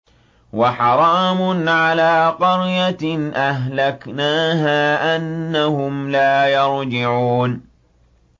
وَحَرَامٌ عَلَىٰ قَرْيَةٍ أَهْلَكْنَاهَا أَنَّهُمْ لَا يَرْجِعُونَ